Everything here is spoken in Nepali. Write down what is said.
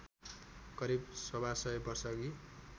करिब सवासय वर्षअघि